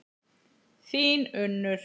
Þín Unnur.